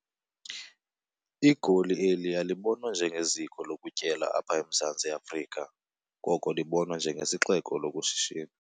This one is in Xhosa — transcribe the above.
Igoli eli alibonwa njengeziko lokutyelela apha eMzantsi Afrika, koko libonwa njengesixeko sokushishina.